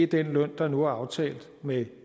den løn der nu er aftalt med